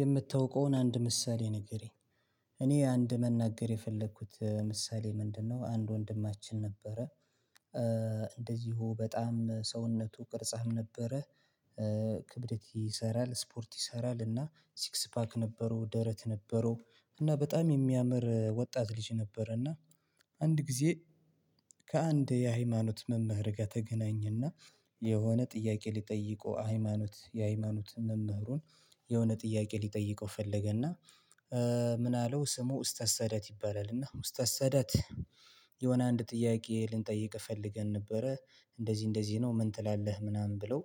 የምታውቀውን አንድ ምሳሌ ንገረኝ እኔ አንድ መናገር የፈለኩት ምሳሌ ምንድነው? አንድ ወንድማችን ነበረ። እንደዚሁ በጣም ሰውነቱ ቅርጻም ነበረ። ክብደት ይሰራል ስፖርት ይሰራል እና ሲክስ ፓክ ነበረው ደረት ነበረው እና በጣም የሚያምር ወጣት ልጅ ነበረ። እና አንድ ጊዜ ከአንድ የሃይማኖት መምህር ጋ ተገናኝና። የሆነ ጥያቄ ሊጠይቁ ሃይማኖት የሃይማኖት መምህሩን የሆነ ጥያቄ ሊጠይቀው ፈለገና። ምን አለው ስሙ ኡስታዝ ሳዳት ይባላል። እና ኡስታዝ ሳዳት የሆነ አንድ ጥያቄ ልንጠይቅህ ፈልገን ነበረ። እንደዚህ እንደዚህ ነው ምን ትላለህ ምናምን ብለው።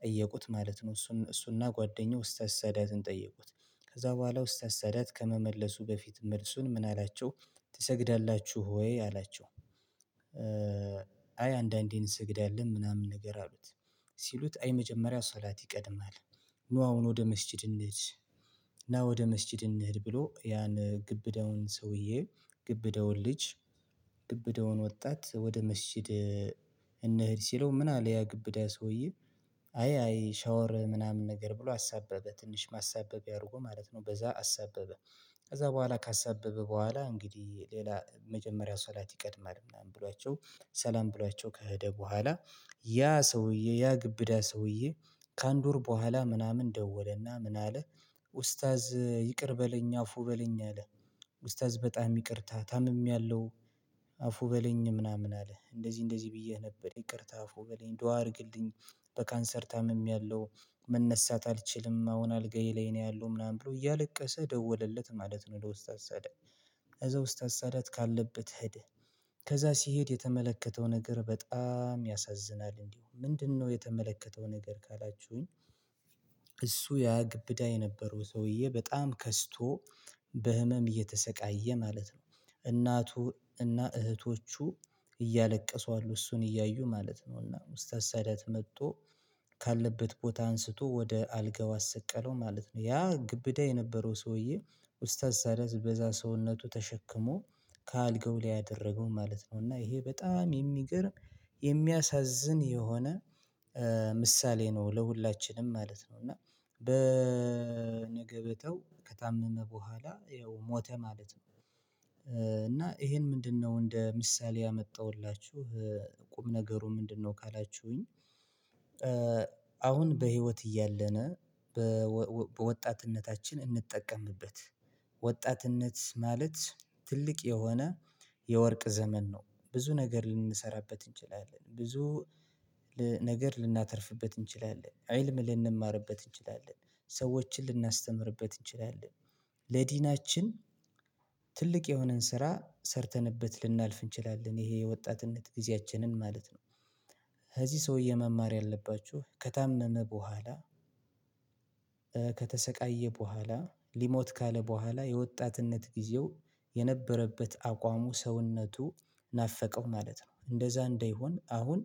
ጠየቁት ማለት ነው። እሱ እሱና ጓደኛው ኡስታዝ ሳዳትን ጠየቁት። ከዛ በኋላ ኡስታዝ ሳዳት ከመመለሱ በፊት መልሱን ምን አላቸው? ትሰግዳላችሁ ወይ አላቸው። አይ አንዳንዴ እንሰግዳለን ምናምን ነገር አሉት። ሲሉት አይ መጀመሪያ ሶላት ይቀድማል። ኑ አሁን ወደ መስጅድ እንሂድ። ና ወደ መስጂድ እንሂድ ብሎ ያን ግብደውን ሰውዬ ግብዳውን ልጅ ግብዳውን ወጣት ወደ መስጂድ። እንህድ ሲለው ምናል ያ ግብዳ ሰውዬ አይ ሻወር ምናምን ነገር ብሎ አሳበበ ትንሽ ማሳበቢያ አርጎ ማለት ነው በዛ አሳበበ። ከዛ በኋላ ካሰበበ በኋላ እንግዲህ ሌላ መጀመሪያ ሶላት ይቀድማል ምናምን ብሏቸው ሰላም ብሏቸው ከሄደ በኋላ። ያ ሰውዬ ያ ግብዳ ሰውዬ ከአንድ ወር በኋላ ምናምን ደወለና ምን አለ? ኡስታዝ ይቅር በለኝ አፉ በለኝ አለ። ኡስታዝ በጣም ይቅርታ ታምሜያለሁ። አፉ በለኝ ምናምን አለ እንደዚህ እንደዚህ ብየህ ነበር ይቅርታ አፉ በለኝ ዱአ አርግልኝ። በካንሰር ታምሜያለሁ። መነሳት አልችልም አሁን አልጋዬ ላይ ነው ያለው ምናምን ብሎ እያለቀሰ ደወለለት ማለት ነው ለ ኡስታዝ ሳዳት። እዛ ኡስታዝ ሳዳት ካለበት ኸደ። ከዛ ሲሄድ የተመለከተው ነገር በጣም ያሳዝናል እንዲሁምጨምንድነው የተመለከተው ነገር ካላችሁኝ? እሱ ያ ግብዳ የነበረው ሰውዬ በጣም ከስቶ። በህመም እየተሰቃየ ማለት ነው። እናቱ እና እህቶቹ እያለቀሱ አሉ እሱን እያዩ ማለት ነው እና ኡስታዝ ሳዳት መጦ። ካለበት ቦታ አንስቶ ወደ አልጋው አሰቀለው ማለት ነው። ያ ግብዳ የነበረው ሰውዬ። ኡስታዝ ሳዳት በዛ ሰውነቱ ተሸክሞ ከአልጋው ላይ አደረገው ማለት ነው። እና ይሄ በጣም የሚገርም የሚያሳዝን የሆነ ምሳሌ ነው ለሁላችንም ማለት ነው። እና በነገበታው ከታመመ በኋላ ያው ሞተ ማለት ነው። እና ይሄን ምንድነው እንደ ምሳሌ ያመጣሁላችሁ? ቁም ነገሩ ምንድነው ካላችሁኝ? አሁን በህይወት እያለነ በወጣትነታችን እንጠቀምበት። ወጣትነት ማለት ትልቅ የሆነ የወርቅ ዘመን ነው። ብዙ ነገር ልንሰራበት እንችላለን ብዙ ነገር ልናተርፍበት እንችላለን ኢልም ልንማርበት እንችላለን ሰዎችን ልናስተምርበት እንችላለን። ለዲናችን ትልቅ የሆነን ስራ ሰርተንበት ልናልፍ እንችላለን ይሄ የወጣትነት ጊዜያችንን ማለት ነው። ከዚህ ሰውዬ መማር ያለባችሁ ከታመመ በኋላ። ከተሰቃየ በኋላ ሊሞት ካለ በኋላ የወጣትነት ጊዜው የነበረበት አቋሙ ሰውነቱ ናፈቀው ማለት ነው። እንደዛ እንደይሆን አሁን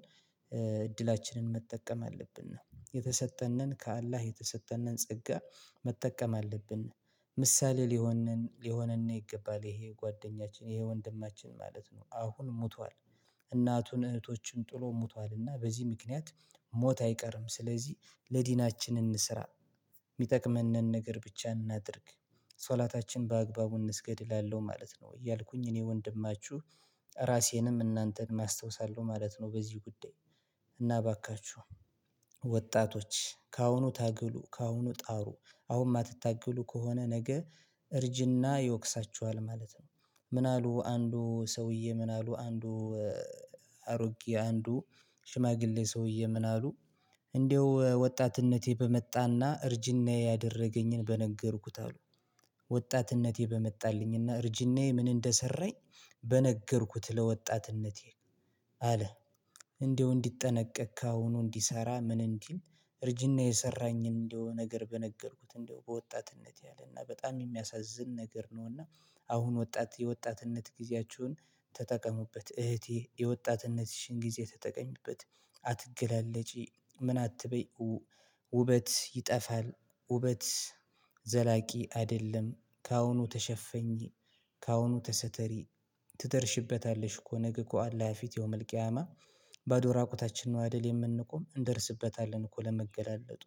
እድላችንን መጠቀም አለብን ነው የተሰጠነን ከአላህ የተሰጠነን ጸጋ መጠቀም አለብን። ምሳሌ ሊሆነን ሊሆነነ ይገባል ይሄ ጓደኛችን ይሄ ወንድማችን ማለት ነው። አሁን ሞቷል። እናቱን እህቶችን ጥሎ ሞቷልና በዚህ ምክንያት ሞት አይቀርም። ስለዚህ ለዲናችን እንስራ። ሚጠቅመነን ነገር ብቻ እናድርግ። ሶላታችን በአግባቡ እንስገድ እላለሁ ማለት ነው። እያልኩኝ እኔ ወንድማችሁ ራሴንም እናንተንም አስታውሳለሁ ማለት ነው። በዚህ ጉዳይ። እና እባካችሁ ወጣቶች ከአሁኑ ታገሉ ከአሁኑ ጣሩ። አሁን ማትታገሉ ከሆነ ነገ እርጅና ይወቅሳችኋል ማለት ነው። ምን አሉ አንዱ ሰውዬ ምን አሉ አንዱ? አሮጌ አንዱ ሽማግሌ ሰውዬ ምን አሉ? እንደው ወጣትነቴ በመጣና እርጅናዬ ያደረገኝን በነገርኩት አሉ። ወጣትነቴ በመጣልኝና እርጅናዬ ምን እንደሰራኝ? በነገርኩት ለወጣትነቴ አለ። እንደው እንዲጠነቀቅ ካሁኑ እንዲሰራ ምን እንዲል? እርጅና የሰራኝን እንደው ነገር በነገርኩት እንደው በወጣትነት ያለና በጣም የሚያሳዝን ነገር ነውና። አሁን ወጣት የወጣትነት ጊዜያችሁን ተጠቀሙበት እህቴ የወጣትነትሽን ጊዜ ተጠቀሚበት። አትገላለጪ ምን አትበይ? ውበት ይጠፋል። ውበት ዘላቂ አይደለም። ካሁኑ ተሸፈኚ ከአሁኑ ተሰተሪ ትደርሽበታለሽ እኮ ነገ ከአላህ ፊት የውመል ቂያማ። ባዶ ራቁታችን ነው አይደል የምንቆም እንደርስበታለን እኮ ለመገላለጡ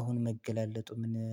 አሁን መገላለጡ ምን